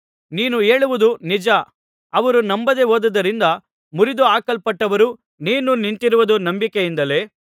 ನೀನು ಹೇಳುವುದು ನಿಜ ಅವರು ನಂಬದೇ ಹೋದ್ದದರಿಂದ ಮುರಿದುಹಾಕಲ್ಪಟ್ಟರು ನೀನು ನಿಂತಿರುವುದು ನಂಬಿಕೆಯಿಂದಲೇ